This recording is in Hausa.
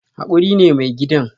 Hakuri ne mai gidan